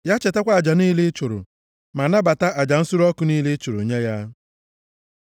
Ya chetakwa aja niile ị chụrụ, ma nabata aja nsure ọkụ niile ị chụrụ nye ya. Sela